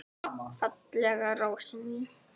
Fallega rósin mín.